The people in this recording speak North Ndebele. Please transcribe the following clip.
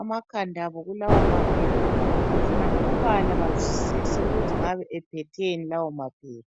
amakhanda abo kulawomaphepha befuna ukubala bazwisise ukuthi ngabe ephetheni lawo maphepha.